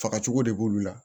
Fagacogo de b'olu la